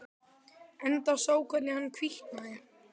Enda sá ég hvernig hann hvítnaði.